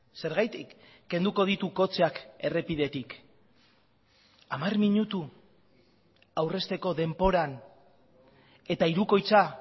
zergatik kenduko ditu kotxeak errepidetik hamar minutu aurrezteko denboran eta hirukoitza